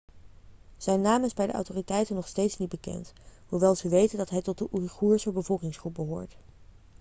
zijn naam is bij de autoriteiten nog steeds niet bekend hoewel ze weten dat hij tot de oeigoerse bevolkingsgroep behoort